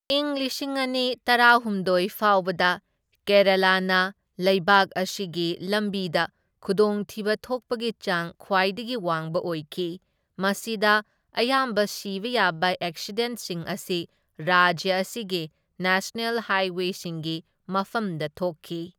ꯢꯪ ꯂꯤꯁꯤꯡ ꯑꯅꯤ ꯇꯔꯥꯍꯨꯝꯗꯣꯢ ꯐꯥꯎꯕꯗ ꯀꯦꯔꯥꯂꯥꯅ ꯂꯩꯕꯥꯛ ꯑꯁꯤꯒꯤ ꯂꯝꯕꯤꯗ ꯈꯨꯗꯣꯡꯊꯤꯕ ꯊꯣꯛꯄꯒꯤ ꯆꯥꯡ ꯈ꯭ꯋꯥꯏꯗꯒꯤ ꯋꯥꯡꯕ ꯑꯣꯏꯈꯤ, ꯃꯁꯤꯗ ꯑꯌꯥꯝꯕ ꯁꯤꯕ ꯌꯥꯕ ꯑꯦꯛꯁꯤꯗꯦꯟꯠꯁꯤꯡ ꯑꯁꯤ ꯔꯥꯖ꯭ꯌ ꯑꯁꯤꯒꯤ ꯅꯦꯁꯅꯦꯜ ꯍꯥꯏꯋꯦꯁꯤꯡꯒꯤ ꯃꯐꯝꯗ ꯊꯣꯛꯈꯤ꯫